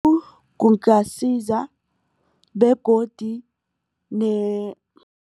kungasiza begodu